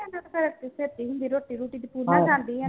ਛੇਤੀ ਹੁੰਦੀ ਰੋਟੀ ਰੂਟੀ ਸਕੂਲੇ ਜਾਂਦੀ ਆ